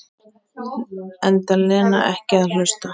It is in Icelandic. Enda Lena ekki að hlusta.